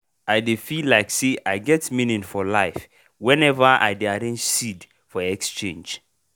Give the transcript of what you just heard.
i dey feel like say i get meaning for life whenever i dey arrange seed for exchange.